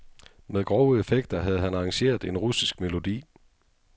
Med grove effekter havde han arrangeret en russisk melodi.